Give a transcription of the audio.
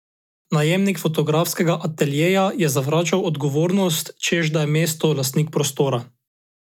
Najemnik fotografskega ateljeja je zavračal odgovornost, češ da je mesto lastnik prostora.